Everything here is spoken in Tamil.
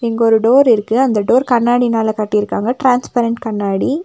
இங்க ஒரு டோர் இருக்கு அந்த டோர் கண்ணாடினால கட்டிருக்காங்க டிரான்ஸ்பரெண்ட் கண்ணாடி.